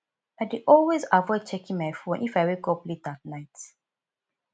i dey always avoid checking my phone if i wake up late at night